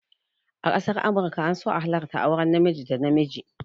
A ƙasar amurka an so a halarta auren namiji da namiji